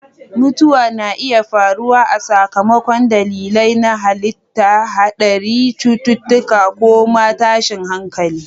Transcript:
Mutuwa na iya faruwa a sakamakon dalilai na halitta, haɗari, cututtuka, ko ma tashin hankali.